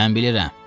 Mən bilirəm.